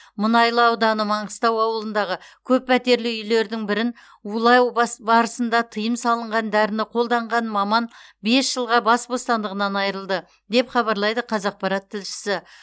мұнайлы ауданы маңғыстау ауылындағы көппәтерлі үйлердің бірін улай бас барысында тыйым салынған дәріні қолданған маман бес жылға бас бостандығынан айырылды деп хабарлайды қазақпарат тілшісі